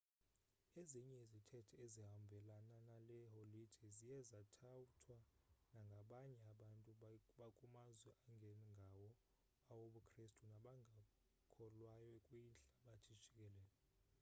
ezinye izithethe ezihambelana nale holide ziye zathathwa nangabanye abantu bakumazwe angengawo awobukrestu nabangakholwayo kwihlabathi jikelele